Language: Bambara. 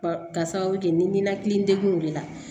Ka sababu kɛ ni ninakili degun de ye